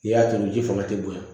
I y'a tobi ji fanga ti bonya